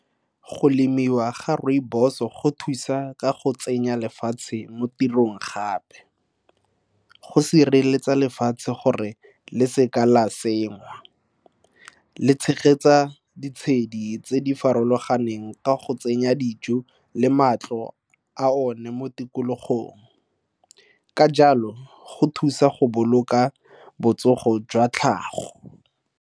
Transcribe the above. Go lemiwa ga rooibos-o go thusa ka go tsenya lefatshe mo tirong gape. Go sireletsa lefatshe gore le seka la sengwa, le tshegetsa ditshedi tse di farologaneng ka go tsenya dijo le matlo a one mo tikologong. Ka jalo, go thusa go boloka botsogo jwa tlhago.